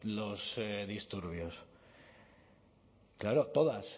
los disturbios claro todas